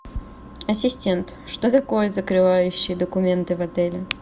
ассистент что такое закрывающие документы в отеле